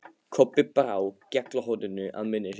Kobbi brá gjallarhorninu að munni sér.